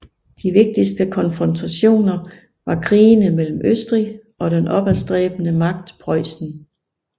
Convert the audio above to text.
De vigtigste konfrontationer var krigene mellem Østrig og den opadstræbende magt Preussen